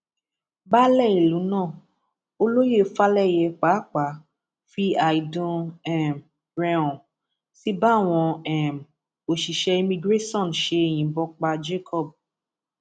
baálẹ ìlú náà olóyè falẹyẹ pàápàá fi àìdùn um rẹ hàn sí báwọn um òṣìṣẹ imigiresàn ṣe yìnbọn pa jacob